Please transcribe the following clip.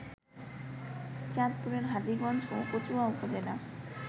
চাঁদপুরের হাজীগঞ্জ ও কচুয়া উপজেলা